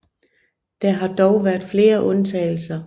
Der har dog været flere undtagelser